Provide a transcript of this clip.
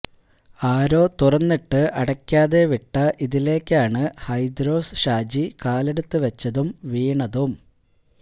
ആരോ തുറന്നിട്ട് അടയ്ക്കാതെ വിട്ട ഇതിലേക്കാണ് ഹൈദ്രോസ് ഹാജി കാലെടുത്തു വച്ചതും വീണതും